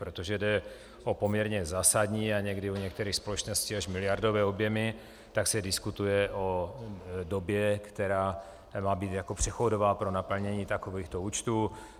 Protože jde o poměrně zásadní a někdy u některých společností až miliardové objemy, tak se diskutuje o době, která má být jako přechodová pro naplnění takovýchto účtů.